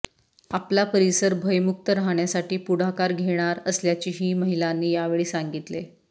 आपला परिसर भयमुक्त राहण्यासाठी पुढाकार घेणार असल्याचे हि महिलांनी यावेळी सांगितले